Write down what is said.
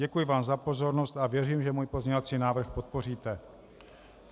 Děkuji vám za pozornost a věřím, že můj pozměňovací návrh podpoříte.